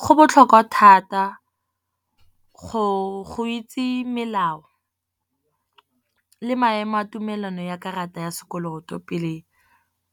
Go botlhokwa thata go itse melao le maemo a tumelano ya karata ya sekoloto pele